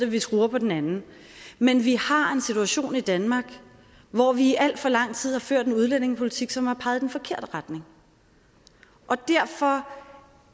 vi skruer på den anden men vi har en situation i danmark hvor vi i alt for lang tid har ført en udlændingepolitik som har peget i den forkerte retning og derfor